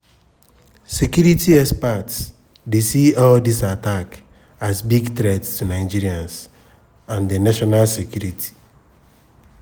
security experts dey see all dis attacks as big threat to nigerians and national security.